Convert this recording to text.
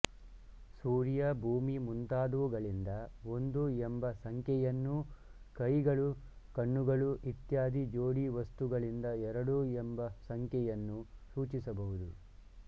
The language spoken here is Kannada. ಸೂರ್ಯ ಭೂಮಿ ಮುಂತಾದುವುಗಳಿಂದ ಒಂದು ಎಂಬ ಸಂಖ್ಯೆಯನ್ನೂ ಕೈಗಳುಕಣ್ಣುಗಳೂ ಇತ್ಯಾದಿ ಜೋಡಿ ವಸ್ತುಗಳಿಂದ ಎರಡು ಎಂಬ ಸಂಖ್ಯೆಯನ್ನೂ ಸೂಚಿಸಬಹುದು